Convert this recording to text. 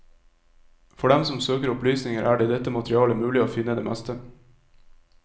For dem som søker opplysninger, er det i dette materialet mulig å finne det meste.